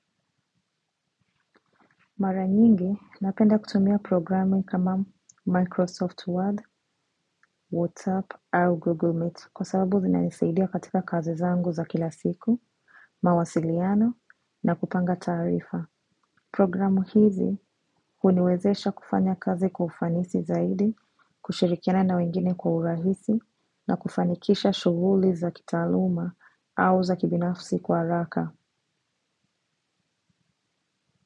Mara nyingi, napenda kutumia programu kama Microsoft Word, WhatsApp au Google Meet kwa sababu zinanisaidia katika kazi zangu za kila siku, mawasiliano na kupanga taarifa. Programu hizi huniwezesha kufanya kazi kwa ufanisi zaidi, kushirikiana na wengine kwa urahisi na kufanikisha shughuli za kitaaluma au za kibinafsi kwa haraka.